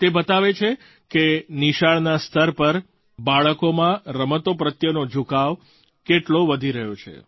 તે બતાવે છે કે નિશાળના સ્તર પર બાળકોમાં રમતો પ્રત્યેનો ઝુકાવ કેટલો વધી રહ્યો છે